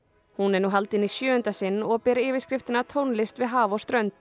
hún er nú haldin í sjöunda sinn og ber yfirskriftina tónlist við haf og strönd